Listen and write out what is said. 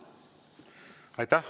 Aitäh!